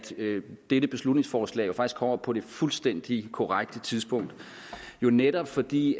dette beslutningsforslag kommer på det fuldstændig korrekte tidspunkt netop fordi